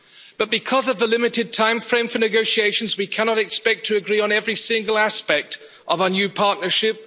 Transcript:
UK, but because of the limited timeframe for negotiations, we cannot expect to agree on every single aspect of our new partnership.